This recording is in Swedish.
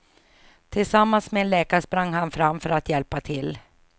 Tillsammans med en läkare sprang han fram för att hjälpa till.